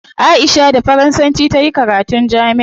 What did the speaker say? Aisha da faransanci tayi karatun jami'a